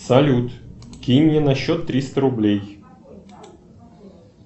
салют кинь мне на счет триста рублей